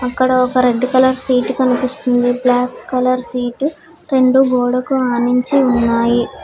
ఇక్కడ ఒక red colour seat కనిపిస్తుంది బ్లాక్ కలర్ సీట్ రెండు గోడకు ఆనించి ఉన్నాయి.